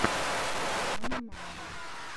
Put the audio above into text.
пианомания